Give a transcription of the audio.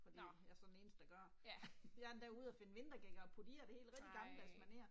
Fordi, jeg er så den eneste der gør det. Jeg er endda ude og finde vintergækker og putte i og det hele rigtig gammeldags maner